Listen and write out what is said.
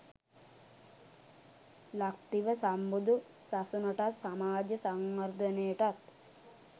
ලක්දිව සම්බුදු සසුනටත්, සමාජ සංවර්ධනයටත්